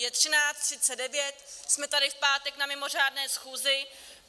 Je 13.39, jsme tady v pátek na mimořádné schůzi.